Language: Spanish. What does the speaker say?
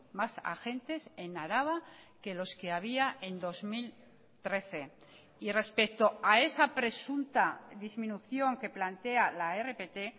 más agentes en araba que los que había en dos mil trece y respecto a esa presunta disminución que plantea la rpt